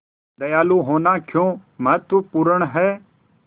दयालु होना क्यों महत्वपूर्ण है